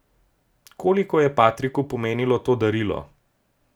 Koliko je Patriku pomenilo to darilo!